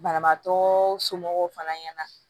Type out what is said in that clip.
Banabaatɔ somɔgɔw fana ɲɛna